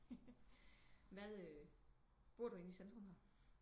Hvad øh bor du ind i centrum her